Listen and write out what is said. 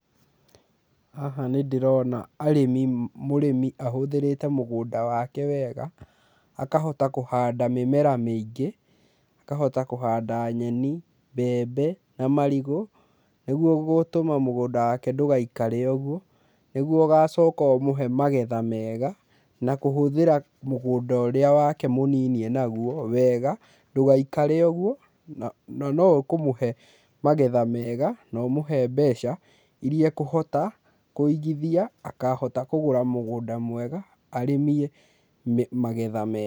Haha nĩ ndĩrona arĩmi, mũrĩmi ahũthĩrĩte mũgũnda wake wega akahota kũhanda mĩmera mĩingĩ akahota kũhanda nyeni, mbembe na marigũ nĩguo gũtũma mũgũnda wake ndũgaikĩre o ũguo nĩguo ũgacoka ũmũhe magetha mega, na kũhũthĩra mũgũnda ũrĩa wake mũnini ena guo wega ndũgaikare ũguo na no ũkũmũhe magetha mega na ũmehe mbeca iria ekũhota kũigithia akahota kũgũra mũgũnda mwega arĩmie magetha mega.